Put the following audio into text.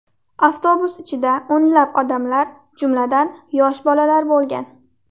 Avtobus ichida o‘nlab odamlar, jumladan, yosh bolalar bo‘lgan.